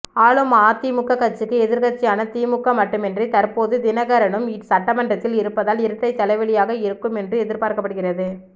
ஆளும் அதிமுக ஆட்சிக்கு எதிர்க்கட்சியான திமுக மட்டுமின்றி தற்போது தினகரனும் சட்டமன்றத்தில் இருப்பதால் இரட்டை தலைவலியாக இருக்கும் என்று எதிர்பார்க்கப்படுகிறது